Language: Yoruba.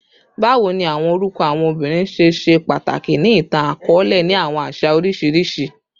Bawo ni awọn orukọ awọn obinrin ṣe ṣe pataki ni itan-akọọlẹ ni awọn aṣa oriṣiriṣi?